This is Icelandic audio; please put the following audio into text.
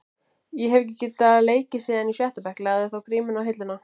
Ég hef ekki leikið síðan í sjötta bekk, lagði þá grímuna á hilluna.